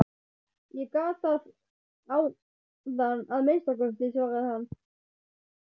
Ég gat það áðan að minnsta kosti, svaraði hann.